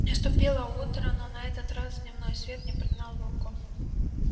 наступило утро но на этот раз дневной свет не прогнал волков